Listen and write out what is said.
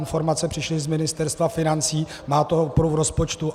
Informace přišly z Ministerstva financí, má to oporu v rozpočtu.